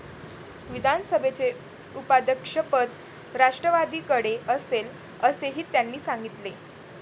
विधानसभेचे उपाध्यक्षपद राष्ट्रवादीकडे असेल, असेही त्यांनी सांगितले.